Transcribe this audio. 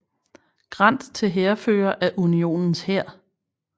Grant til hærfører af Unionens hær